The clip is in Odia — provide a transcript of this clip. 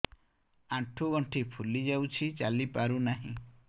ଆଂଠୁ ଗଂଠି ଫୁଲି ଯାଉଛି ଚାଲି ପାରୁ ନାହିଁ